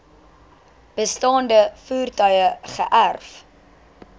bestaande voertuie geërf